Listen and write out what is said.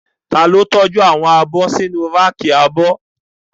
Ta ló tọ́jú àwọn abọ́ sínu ráàkì abọ́?